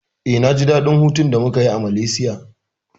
Eh, na ji daɗin hutun da muka yi a Malaysia.